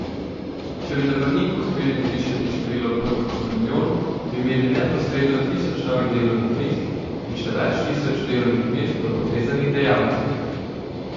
Če bi na Brniku uspeli zvišati število potnikov za milijon, bi imeli neposredno tisoč novih delovnih mest in še več tisoč delovnih mest v povezanih dejavnostih.